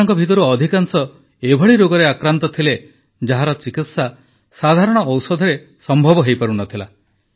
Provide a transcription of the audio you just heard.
ଏମାନଙ୍କ ମଧ୍ୟରୁ ଅଧିକାଂଶ ଏଭଳି ରୋଗରେ ଆକ୍ରାନ୍ତ ଥିଲେ ଯାହାର ଚିକିତ୍ସା ସାଧାରଣ ଔଷଧରେ ସମ୍ଭବ ହୋଇପାରୁନଥିଲା